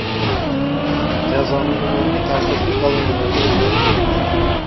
Jazoni umumiy tartibli koloniyalarda o‘tashi belgilandi.